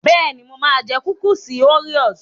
Bẹ́ẹ̀ni, mo máa jẹ kúkúùsì óríò.